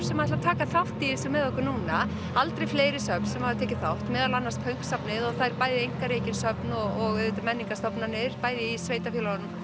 sem ætla að taka þátt í þessu með okkur núna aldrei fleiri söfn sem hafa tekið þátt meðal annars pönk safnið og það eru bæði einkarekin söfn og auðvitað menningarstofnanir bæði í sveitarfélaginu